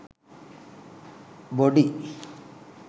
body